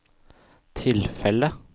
tilfellet